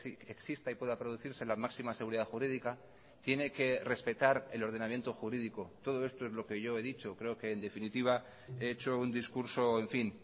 que exista y pueda producirse la máxima seguridad jurídica tiene que respetar el ordenamiento jurídico todo esto es lo que yo he dicho creo que en definitiva he hecho un discurso en fin